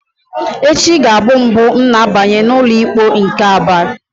Echi ga-abụ mbụ m na-abanye n'ụlọikpe nke Aba.